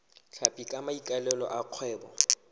tlhapi ka maikaelelo a kgwebo